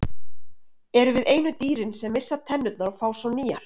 Erum við einu dýrin sem missa tennurnar og fá svo nýjar?